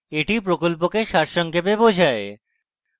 এটি প্রকল্পকে সারসংক্ষেপে বোঝায়